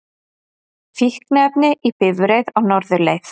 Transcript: Fíkniefni í bifreið á norðurleið